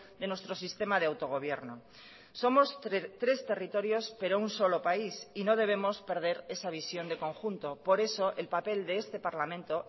de nuestro sistema de autogobierno somos tres territorios pero un solo país y no debemos perder esa visión de conjunto por eso el papel de este parlamento